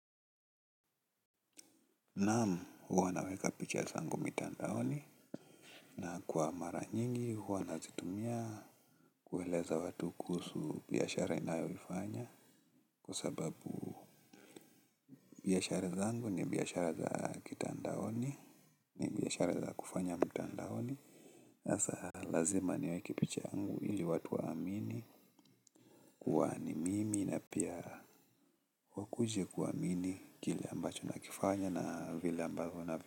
Naam huwa naweka picha zangu mitandaoni. Na kwa mara nyingi huwa nazitumia kueleza watu kuhusu biashara ninayo ifanya. Kusababu biashara zangu ni biashara za kitandaoni. Ni biashara za kufanya mitandaoni. Asa lazima niweki picha yangu ili watu waamini kua ni mimi na pia wakuje kuamini kile ambacho nakifanya na vile ambavyo na.